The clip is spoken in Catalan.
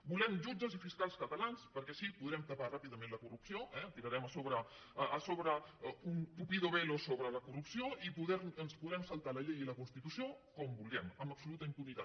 volem jutges i fiscals catalans perquè així podrem tapar ràpidament la corrupció eh tirarem un tupido velo sobre la corrupció i ens podrem saltar la llei i la constitució com vulguem amb absoluta impunitat